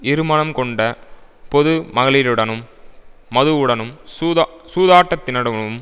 இருமனம் கொண்ட பொதுமகளிருடனும் மதுவுடனும் சூதாட் சூதாட்டத்தினிடமும்